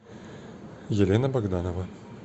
елена богданова